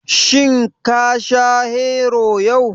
Shin ka sha Hero yau?